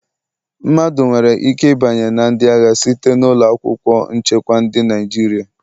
Mmadụ nwere ike ịbanye na ndị agha site na ụlọ akwụkwọ nchekwa Ndị Naịjirịa